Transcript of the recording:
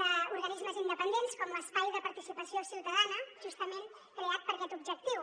d’organismes independents com l’espai de participació ciutadana justament creat per aquest objectiu